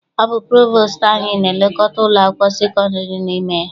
Ọ bụ provostu anyị na-elekọta ụlọ akwụkwọ sekondiri dị n'ime ya.